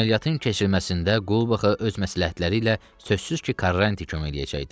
Əməliyyatın keçirilməsində Qulbaxa öz məsləhətləri ilə sözsüz ki, Karrant kömək eləyəcəkdi.